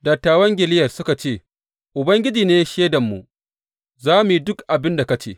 Dattawan Gileyad suka ce, Ubangiji ne shaidanmu; za mu yi duk abin da ka ce.